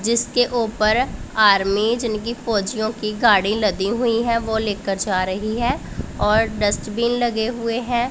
जिसके ऊपर आर्मी जिनकी फौजियों की गाड़ी लदी हुईं हैं वो लेकर जा रहीं हैं और डस्टबिन लगे हुए हैं।